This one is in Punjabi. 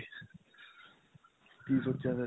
ਕੀ ਸੋਚਿਆ ਫਿਰ?